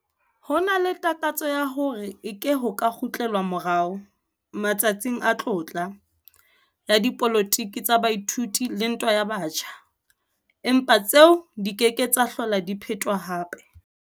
Ho na le takatso ya hore eke ho ka kgutlelwa morao 'matsatsing a tlotla' ya dipolotiki tsa baithuti le ntwa ya batjha, empa tseo di ke ke tsa hlola di phetwa hape.